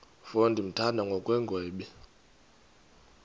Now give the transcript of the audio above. mfo ndimthanda ngokungagwebi